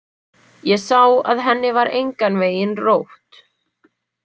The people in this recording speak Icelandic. Ég sá að henni var engan veginn rótt.